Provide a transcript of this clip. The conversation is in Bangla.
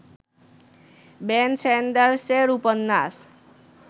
বেন স্যান্ডারসের উপন্যাস